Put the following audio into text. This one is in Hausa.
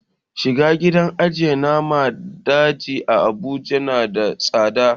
Shiga gidan ajiye naman daji a abuja na da tsada